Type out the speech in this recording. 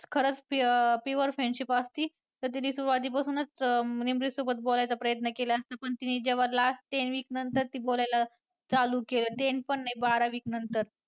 खरंच pure friendship असती तर तिने सुरवातीपासूनच निमरीतसोबत बोलायचा प्रयत्न केला असता पण तिने जेव्हा last ten week नंतर ती बोलायला चालू केलं ten पण नाही बारा week नंतर.